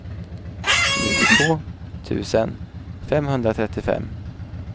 nittiotvå tusen femhundratrettiofem